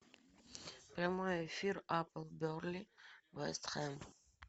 прямой эфир апл бернли вест хэм